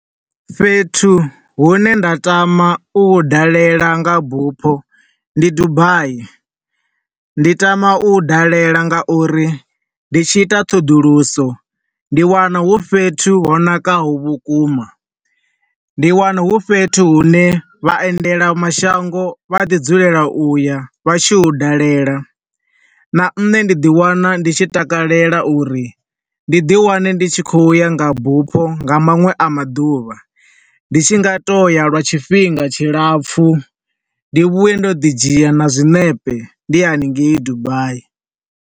Fhethu hune nda tama u hu dalela nga bufho, ndi Dubai. Ndi tama u hu dalela nga uri ndi tshi ita ṱhoḓuluso, ndi wana hu fhethu ho nakaho vhukuma. Ndi wana hu fhethu hu ne vhaendela mashango vha ḓi dzulela u ya vha tshi hu dalela. Na nṋe ndi ḓi wana ndi tshi takelela uri ndi ḓi wane ndi tshi khouya nga bufho nga maṅwe a maḓuvha. Ndi tshi nga toya lwa tshifhinga tshilapfu, ndi vhuya ndo ḓi dzhia na zwiṋepe, ndi haningei Dubai.